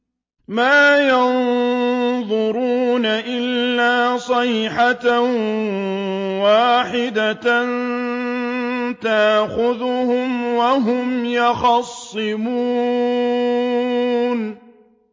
مَا يَنظُرُونَ إِلَّا صَيْحَةً وَاحِدَةً تَأْخُذُهُمْ وَهُمْ يَخِصِّمُونَ